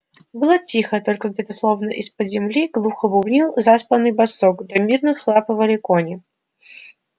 было тихо только где-то словно из под земли глухо бубнил заспанный басок да мирно всхрапывали кони